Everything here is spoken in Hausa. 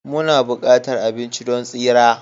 Muna buƙatar abinci don tsira